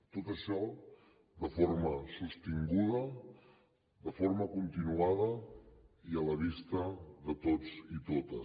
tot això de forma sostinguda de forma continuada i a la vista de tots i totes